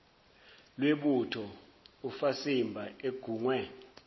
lwebutho ufasimba engungwe